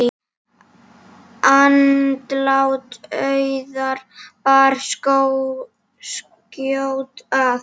Andlát Auðar bar skjótt að.